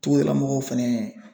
Togodalamɔgɔw fɛnɛ